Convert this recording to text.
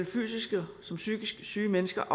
fysisk såvel som psykisk syge mennesker